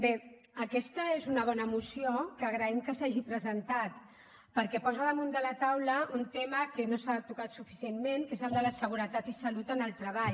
bé aquesta és una bona moció que agraïm que s’hagi presentat perquè posa damunt de la taula un tema que no s’ha tocat suficientment que és el de la seguretat i salut en el treball